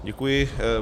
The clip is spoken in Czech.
Děkuji.